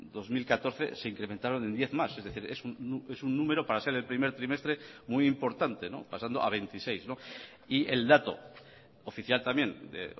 dos mil catorce se incrementaron en diez más es decir es un número para ser el primer trimestre muy importante pasando a veintiséis y el dato oficial también de